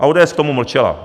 A ODS k tomu mlčela.